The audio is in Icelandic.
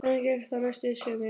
Þannig gekk það næstu sumrin.